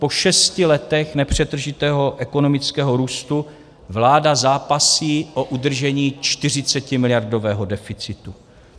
Po šesti letech nepřetržitého ekonomického růstu vláda zápasí o udržení 40miliardového deficitu.